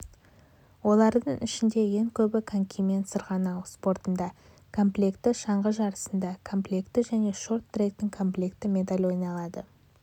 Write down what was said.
олардың ішінде ең көбі конкимен сырғанау спортында комплекті шаңғы жарысында комплекті және шорт-тректен комплекті медаль ойналады